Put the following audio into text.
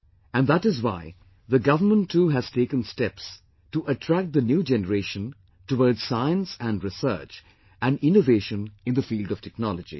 And that is why the government too has taken steps to attract the new generation toward science and research & innovation in the field of technology